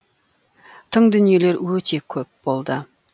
тың дүниелер өте көп болды